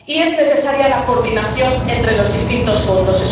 Y es necesaria la coordinación entre los distintos fondos.